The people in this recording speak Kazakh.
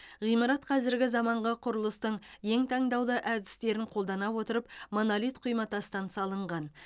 ғимарат қазіргі заманғы құрылыстың ең таңдаулы әдістерін қолдана отырып монолит құйматастан салынған